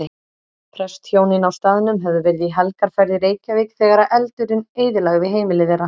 Prestshjónin á staðnum höfðu verið í helgarferð í Reykjavík þegar eldurinn eyðilagði heimili þeirra.